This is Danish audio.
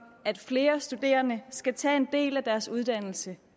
at flere studerende skal tage en del af deres uddannelse